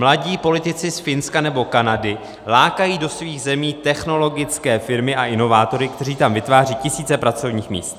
Mladí politici z Finska nebo Kanady lákají do svých zemí technologické firmy a inovátory, kteří tam vytváří tisíce pracovních míst.